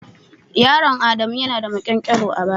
Yaron adamu ya na da maƙyankyaro a baya.